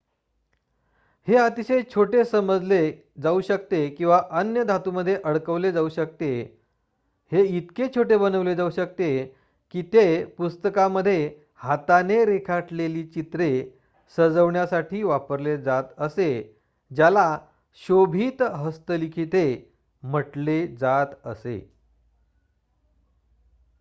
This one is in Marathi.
हे अतिशय छोटे बनवले जाऊ शकते आणि अन्य धातूमध्ये अडकवले जाऊ शकते हे इतके छोटे बनवले जाऊ शकते की ते पुस्तकांमध्ये हाताने रेखाटलेली चित्र सजवण्यासाठी वापरले जात असे ज्याला शोभित हस्तलिखिते'' म्हटलेजात असे